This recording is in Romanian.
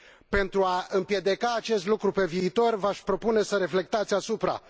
Pentru a împiedica acest lucru pe viitor, v aș propune să reflectați asupra